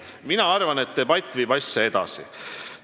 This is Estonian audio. Mina arvan, et debatt viib asja edasi.